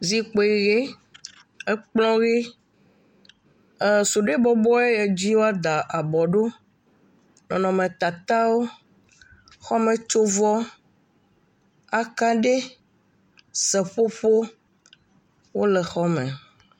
Zikpui, ekplɔ ʋe, esuɖoe bɔbɔ ye dzi woada abɔ ɖo, nɔnɔmetatawo, xɔmetsovɔ, akaɖe, seƒoƒo wole xɔ me.